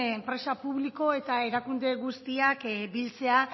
enpresa publiko eta erakunde guztiak biltzea